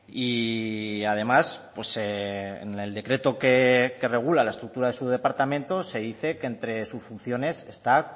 y además en el decreto que regula la estructura de su departamento se dice que entre sus funciones está